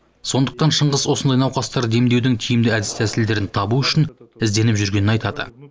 сондықтан шыңғыс осындай науқастарды емдеудің тиімді әдіс тәсілдерін табу үшін ізденіп жүргенін айтады